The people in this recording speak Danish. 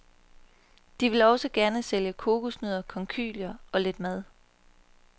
De vil også gerne sælge kokosnødder, konkylier og lidt mad.